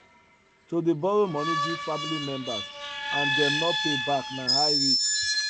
to dey borrow money give family members and them no pay back na high risk